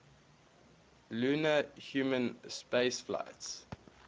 lunar human spaceflights